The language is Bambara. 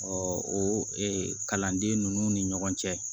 o kalanden ninnu ni ɲɔgɔn cɛ